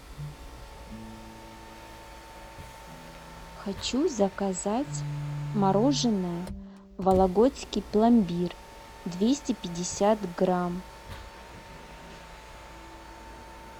хочу заказать мороженое вологодский пломбир двести пятьдесят грамм